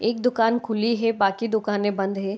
एक दुकान खुली है बाकि दुकानें बंद हैं।